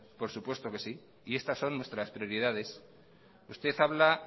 por supuesto que sí y estas son nuestras prioridades usted habla